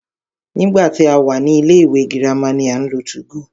Nígbà tí a wà ní ilé ìwé girama ni à ń lo 2go.